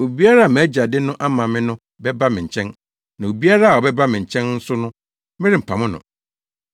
Obiara a mʼAgya de no ama me no bɛba me nkyɛn, na obiara a ɔbɛba me nkyɛn nso no, merempam no.